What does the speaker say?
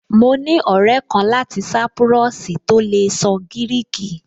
Mo ní ọ̀rẹ́ kan láti sápúrọ́ọ̀sì tó lè sọ gíríkì